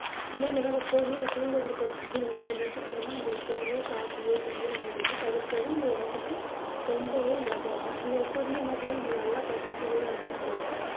இனிமே நம்ப என்ன பண்ணுவோம் வந்து தூங்குறதுக்கு ரெண்டு மணி நேரத்துக்கு முன்னாடியே நம்ம வந்து எப்போதுமே coffee யோ tea யோ நம்ம வந்து தவிர்க்குறது நம்ம உடம்புக்கு ரொம்பவே நல்லது அது தான். நம்ம எப்போதுமே என்ன பண்ணுவோம் நம்ம நல்லா பசிக்கிது அப்படின்னு சொல்லிட்டு